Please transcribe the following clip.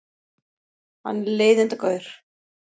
Hann er leiðindagaur.